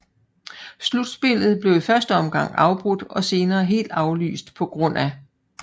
Slutspillet blev i første omgang afbrudt og senere helt aflyst pga